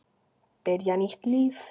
Byrja nýtt líf.